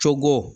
Cogo